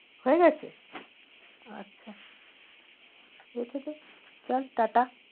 হয়ে গেছে? আচ্ছা রেখে দেয় চল ta ta